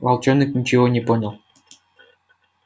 волчонок ничего не понял